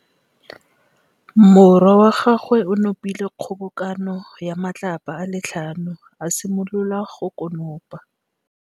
Morwa wa gagwe o nopile kgobokanô ya matlapa a le tlhano, a simolola go konopa.